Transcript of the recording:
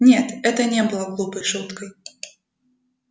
нет это не было глупой шуткой